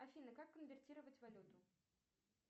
афина как конвертировать валюту